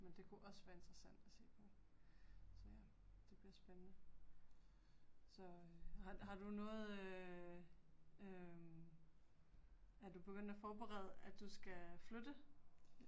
Men det kunne også være interessant at se på. Så ja, det bliver spændende. Så øh har du noget øh øh er du begyndt at forberede at du skal flytte?